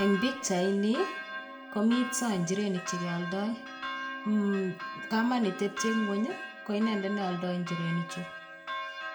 eng pikchaini komito inchirenik chekealdoi. Kamanitepche ng'ony, ko inendet nealdoi inchirenichu.